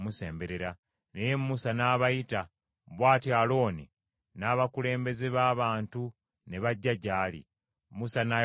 Naye Musa n’abayita; bw’atyo Alooni n’abakulembeze b’abantu ne bajja gy’ali, Musa n’ayogera nabo.